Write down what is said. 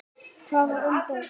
Hvaða umboð?